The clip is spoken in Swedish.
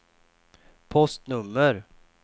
postnummer